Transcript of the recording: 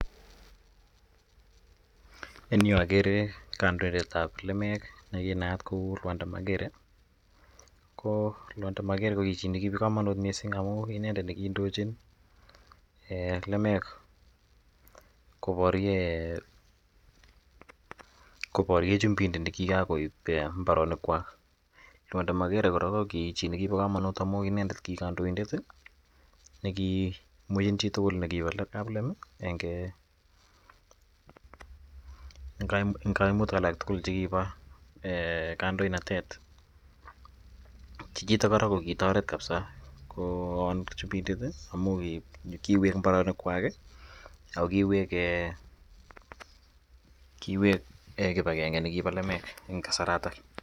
En yuu agere kandoindetab lemek nekinaat ko Lwanda Magere. Ko Lwanda Magere ko ki chii nekibo komonut missing amun ki inendet nekindochin lemek koboryen koborye chumindet nekikan koib mbaronik kwak. Lwanda Magere kora ko ki chii nekibo komonut amun ki inendet kokikandoindet ih nekimween chitugul kaplem ih en koimutik alak tugul chekibo kandoinatet. Chichiton kora kokitoret kabisa kowon chumindet ih amun kiwek mbaronok kwak ih ako kiwek um kiwek kibagenge nekibo lemek en kasarato